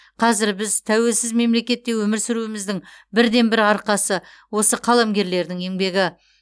қазір біз тәуелсіз мемлекетте өмір сүруіміздің бірден бір арқасы осы қаламгерлердің еңбегі